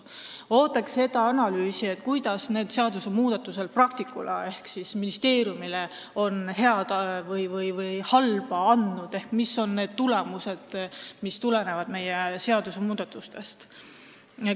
Ootaks analüüsi, kui palju need seadusmuudatused praktikule ehk ministeeriumile on head või halba andnud ehk mis on need tulemused, mis seadusmuudatustest tulenevad.